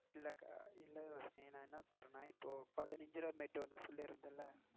இல்ல அக்கா, இல்ல ரோஷினி, நான் என்ன சொல்றனான் இப்போ பதினஞ்சு ரூபா mat ஒன்னு சொல்லிருந்தேன் இல்ல.